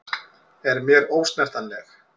Er mér ósnertanleg.